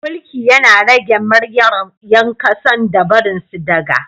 mulki Yana rage myryar yankasan da barinsu daga